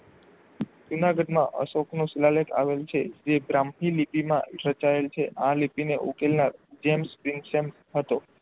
જૂનાગઢમાં અશોકનો શિલાલેખ આવેલ છે તે ગ્રંથિ લિપિ માં રચાયેલ છે આ લિપિ ને ઉકેલવા જેમ્સ હતો.